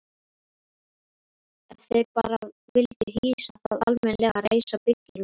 Ef þeir bara vildu hýsa það almennilega, reisa byggingu.